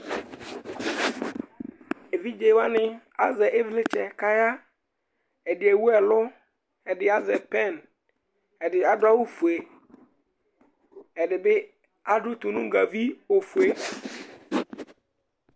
Evidze wanɩ azɛ ɩvlɩtsɛ nʋ aɣla Ɛdɩ ewu ɛlʋ, ɛdɩ azɛ pɛn, ɛdɩ adʋ awʋfue Ɛdɩ bɩ adʋ tonugavi ofue